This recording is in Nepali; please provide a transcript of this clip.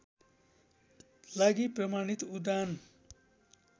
लागि प्रमाणित उडान